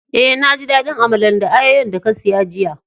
Eh, na ji dadin Amalan da ayoyo'n da ka siya jiya.